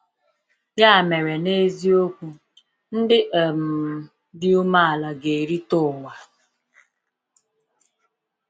Ya mere, n’eziokwu, “ndị um dị umeala ga-erite ụwa.”